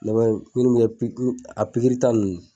Ne ko pigiri min be kɛ a pigirita nunnu